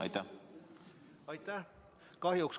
Aitäh!